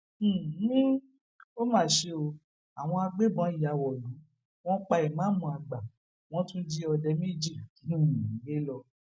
um ó mà ṣe o àwọn agbégbọn ya wọlú wọn pa ìmáàmù àgbà wọn tún jí òde méjì um gbé lọ